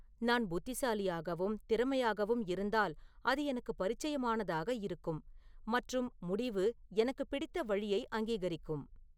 நான் புத்திசாலியாகவும் திறமையாகவும் இருந்தால் அது எனக்கு பரிச்சயமானதாக இருக்கும் மற்றும் முடிவு எனக்கு பிடித்த வழியை அங்கீகரிக்கும்